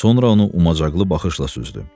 Sonra onu umacaqlı baxışla süzdü.